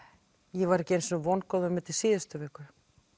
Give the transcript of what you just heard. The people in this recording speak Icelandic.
ég var ekki einu sinni vongóð um þetta í síðustu viku